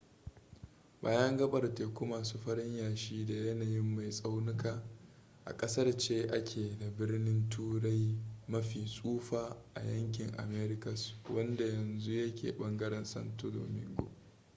bayan gaɓar teku masu farin yashi da yanayin mai tsaunuka a ƙasar ce ake da birnin turai mafi tsufa a yankin americas wanda yanzu ya ke ɓangaren santo domingo